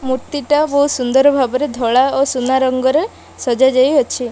ମୂର୍ତ୍ତି ଟା ବହୁତ ସୁନ୍ଦର ଭାବରେ ଧଳା ଓ ସୁନା ରଙ୍ଗରେ ସଜା ଯାଇ ଅଛି।